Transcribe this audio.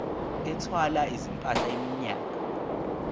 ethwala izimpahla iminyaka